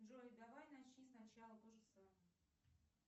джой давай начни сначала тоже самое